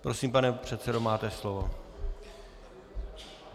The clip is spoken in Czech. Prosím, pane předsedo, máte slovo.